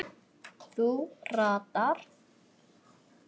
Þú ratar?